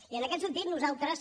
i en aquest sentit nosaltres